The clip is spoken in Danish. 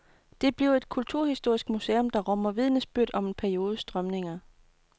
Det bliver et kulturhistorisk museum, der rummer vidnesbyrd om en periodes strømninger.